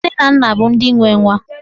Nne na nna bụ ndị nwe nwa.